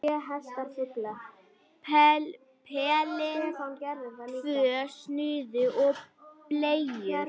Pelinn, tvö snuð og bleiur.